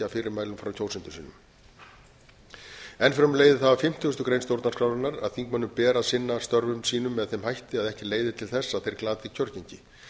fyrirmælum frá kjósendum sínum enn fremur leiðir það að fimmtugustu grein stjórnarskrárinnar að þingmönnum beri að sinna störfum sínum með þeim hætti að ekki leiði til þess að þeir glati kjörgengi